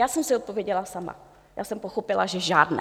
Já jsem si odpověděla sama, já jsem pochopila, že žádné.